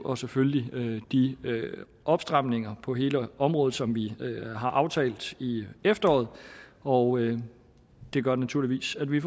og selvfølgelig de opstramninger på hele området som vi har aftalt i efteråret og det gør naturligvis at vi